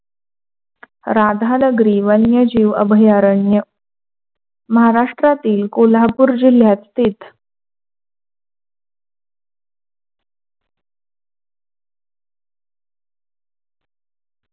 राधानगरी वन्यजीव अभयारण्य महाराष्ट्रातील कोल्हापूर जिल्ह्यात स्थित,